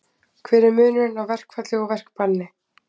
Hver er munurinn á verkfalli og verkbanni?